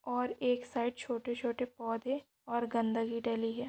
और एक साइड छोटे-छोटे पौधे और गंदगी डली है।